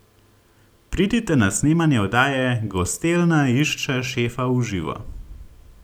Pridite na snemanje oddaje Gostilna išče šefa v živo!